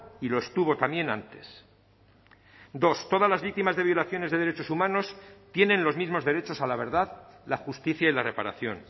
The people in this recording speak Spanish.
y lo estuvo también antes dos todas las víctimas de violaciones de derechos humanos tienen los mismos derechos a la verdad la justicia y la reparación